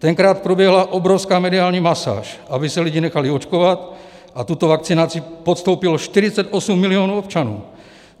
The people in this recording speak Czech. Tenkrát proběhla obrovská mediální masáž, aby se lidi nechali očkovat, a tuto vakcinaci podstoupilo 48 milionů občanů.